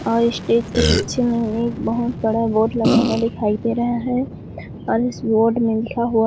और इस स्टेज के पीछे में एक बहुत बड़ा बोर्ड लगा हुआ दिखाई दे रहा है और इस बोर्ड में लिखा हुआ --